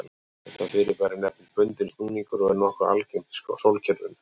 Þetta fyrirbæri nefnist bundinn snúningur og er nokkuð algengt í sólkerfinu.